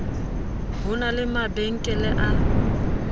ho na le mabankele a